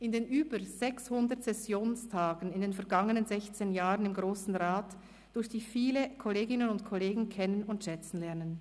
In den über 600 Sessionstagen in den vergangenen 16 Jahren im Grossen Rat durfte ich viele Kolleginnen und Kollegen kennen und schätzen lernen.